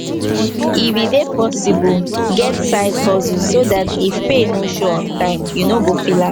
if e dey possible get side hustle so dat if pay no show on time you no go feel am